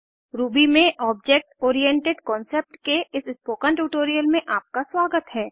Ruby में object oriented concept के इस स्पोकन ट्यूटोरियल में आपका स्वागत है